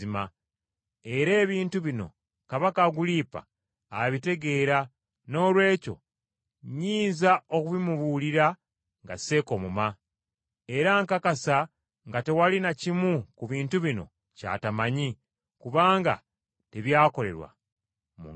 Era ebintu bino Kabaka Agulipa abitegeera, noolwekyo nnyinza okubimubuulira nga seekomoma. Era nkakasa nga tewali na kimu ku bintu bino ky’ataamanya, kubanga tebyakolerwa mu nkiso!